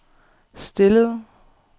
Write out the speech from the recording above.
stillede